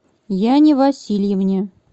яне васильевне